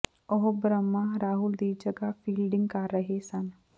ਉਹ ਬ੍ਰਹਮਾ ਰਾਹੁਲ ਦੀ ਜਗ੍ਹਾ ਫੀਲਡਿੰਗ ਕਰ ਰਹੇ ਸਨ